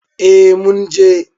Eh mun je.